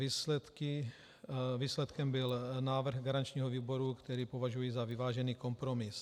Výsledkem byl návrh garančního výboru, který považuji za vyvážený kompromis.